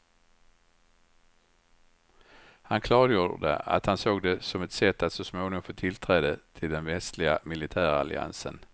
Han klargjorde att han såg det som ett sätt att småningom få tillträde till den västliga militäralliansen.